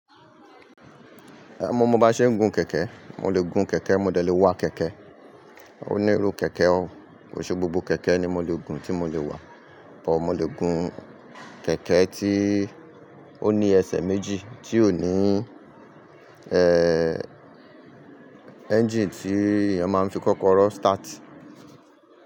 Eh mo mo ba ṣe ń gun kẹ̀kẹ́, mo lè gun kẹ̀kẹ́ mo dẹ̀ lè wa kẹ̀kẹ́. O ní irú kẹ̀kẹ́ o, o ṣe gbogbo kẹ̀kẹ́ ni mo lè gùn tí mo lè wa, bọ̀ mo lè gun kẹ̀kẹ́ tí ó ní ẹsẹ̀ méjì tí ò ní eh engine tí èèyàn máa fi kọ́kọ́ rọ́ start.